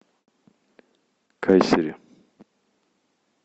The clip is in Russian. кайсери